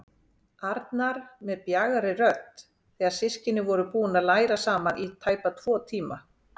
Arnar með bjagaðri rödd þegar systkinin voru búin að læra saman í tæpa tvo tíma.